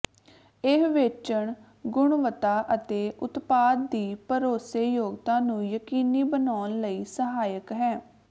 ਇਹ ਵੇਚਣ ਗੁਣਵੱਤਾ ਅਤੇ ਉਤਪਾਦ ਦੀ ਭਰੋਸੇਯੋਗਤਾ ਨੂੰ ਯਕੀਨੀ ਬਣਾਉਣ ਲਈ ਸਹਾਇਕ ਹੈ